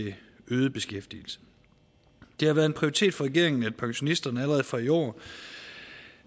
øget beskæftigelse det har været en prioritet for regeringen at pensionisterne allerede fra i år